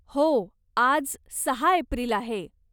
हो, आज सहा एप्रिल आहे.